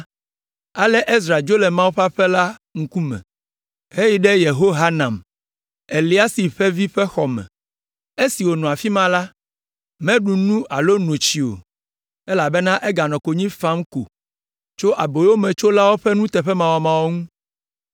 Ale Ezra dzo le Mawu ƒe aƒe la ŋkume heyi ɖe Yehohanan, Eliasib ƒe vi ƒe xɔ me. Esi wònɔ afi ma la, meɖu nu alo no tsi o, elabena eganɔ konyi fam ko tso aboyometsolawo ƒe nuteƒemawɔmawɔ ŋu.